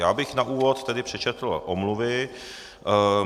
Já bych na úvod tedy přečetl omluvy.